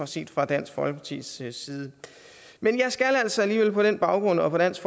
set fra dansk folkepartis side side men jeg skal altså alligevel på den baggrund og på dansk